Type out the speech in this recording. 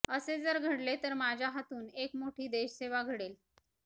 असे जर घडले तर माझ्या हातून एक मोठी देशसेवा घडेल